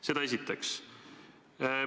Seda esiteks.